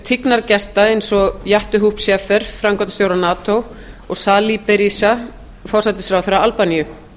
auk tignargesta eins og jaap de hoop scheffer framkvæmdastjóra nato og sali berisha forsætisráðherra albaníu